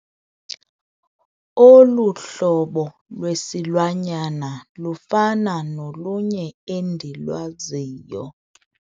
Olu hlobo lwesilwanyana lufana nolunye endilwaziyo.